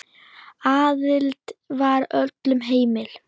Aðild var öllum heimil.